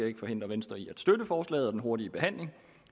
ikke forhindre venstre i at støtte forslaget og en hurtig behandling